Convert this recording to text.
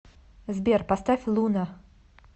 сбер поставь луна